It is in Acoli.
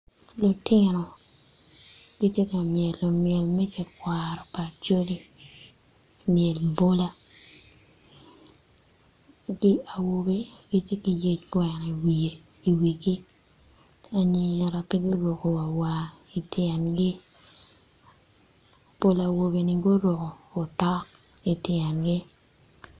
Lutino gitye ka myelo myel me tekwaro Acholi myel bola, gi awobi gitye gi yec gweko i wigi anyira pe guruko wa war i tyengi pol awobeni guruko otok ityengi.